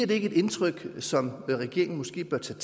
det ikke indtryk så regeringen måske bør tage